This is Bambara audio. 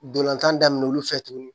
Dolantan daminɛ olu fɛ tuguni